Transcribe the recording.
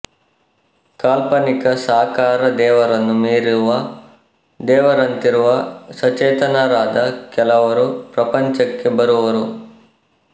ಕಾಲ್ಪನಿಕ ಸಾಕಾರ ದೇವರನ್ನು ಮೀರುವ ದೇವರಂತಿರುವ ಸಚೇತನರಾದ ಕೆಲವರು ಪ್ರಪಂಚಕ್ಕೆ ಬರುವರು